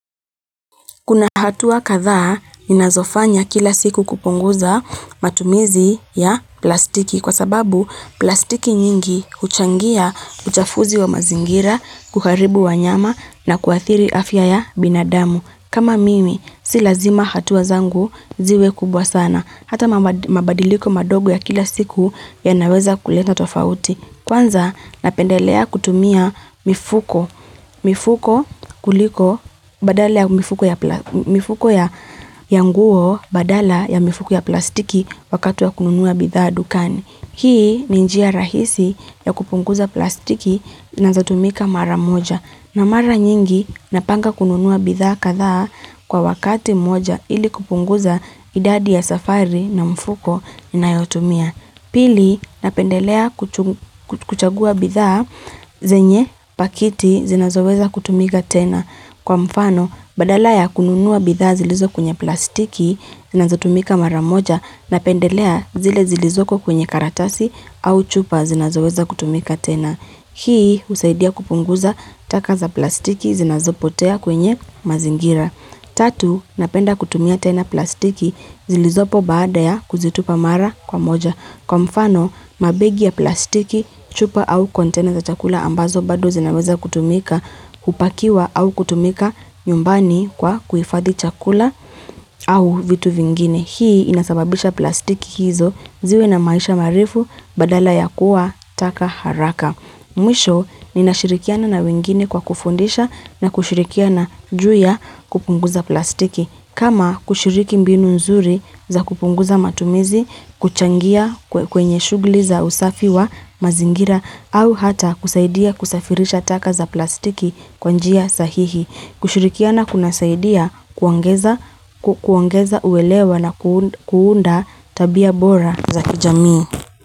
Kuna hatua katha ninazofanya kila siku kupunguza matumizi ya plastiki kwa sababu plastiki nyingi uchangia uchafuzi wa mazingira kuharibu wanyama na kuathiri afya ya binadamu. Kama mimi, si lazima hatua zangu ziwe kubwa sana. Hata mabadiliko madogo ya kila siku yanaweza kuleta tofauti. Kwanza napendelea kutumia mifuko kuliko badala ya mifuko ya nguo badala ya mifuko ya plastiki wakati wa kununuwa bitha dukani. Hii ni njia rahisi ya kupunguza plastiki nazotumika mara moja. Na mara nyingi napanga kununuwa bitha katha kwa wakati moja ili kupunguza idadi ya safari na mfuko nayotumia. Pili, napendelea kuchagua bithaa zenye pakiti zinazoweza kutumika tena. Kwa mfano, badala ya kununuwa bithaa zilizokwenye plastiki zinazotumika maramoja, napendelea zile zilizoko kwenye karatasi au chupa zinazoweza kutumika tena. Hii, usaidia kupunguza taka za plastiki zinazopotea kwenye mazingira. Tatu, napenda kutumia tena plastiki zilizopo baada ya kuzitupa mara kwa moja. Kwa mfano, mabegi ya plastiki chupa au kontena za chakula ambazo bado zinaweza kutumika upakiwa au kutumika nyumbani kwa kuifathi chakula au vitu vingine. Hii inasababisha plastiki hizo ziwe na maisha marefu badala ya kuwa taka haraka. Mwisho ni nashirikiana na wengine kwa kufundisha na kushirikiana juya kupunguza plastiki. Kama kushiriki mbinu nzuri za kupunguza matumizi, kuchangia kwenye shugli za usafi wa mazingira au hata kusaidia kusafirisha taka za plastiki kwa njia sahihi. Kushirikiana kunasaidia kuongeza uwelewa na kuunda tabia bora za kijami.